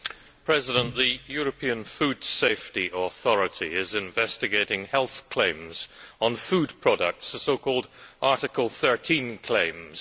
Mr President, the European Food Safety Authority is investigating health claims on food products, the so called Article 13 claims.